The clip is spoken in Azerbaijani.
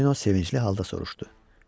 Tonino sevincli halda soruşdu.